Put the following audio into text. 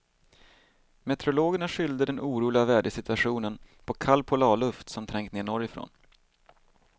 Meteorologerna skyllde den oroliga vädersituationen på kall polarluft som trängt ned norrifrån.